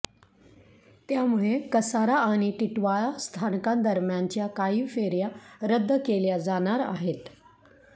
त्यामुळे कसारा आणि टिटवाळा स्थानकांदरम्यानच्या काही फेऱ्या रद्द केल्या जाणार आहेत